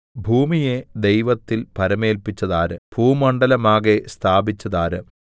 ഭൂമിയെ ദൈവത്തിൽ ഭരമേല്പിച്ചതാര് ഭൂമണ്ഡലമാകെ സ്ഥാപിച്ചതാര്